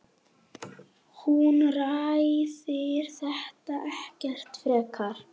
Hún ræðir þetta ekkert frekar.